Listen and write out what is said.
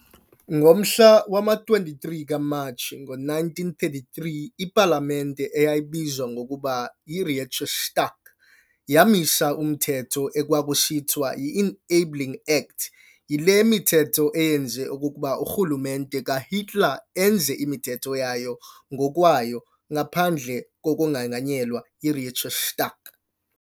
Ngomhla wama-23 kuMatshi ngo-1933, ipalamente, eyayibizwa ngokuba yi-Reichstag, yamisa umthetho ekwakusithiwa yi-"Enabling Act", yile mithetho eyenza okokuba urhulumente kaHitler enze imithetho yayo ngokwayo ngaphandle kokonganyelwa yi-Reichstag.